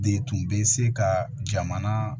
De tun bɛ se ka jamana